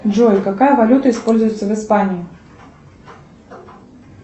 джой какая валюта используется в испании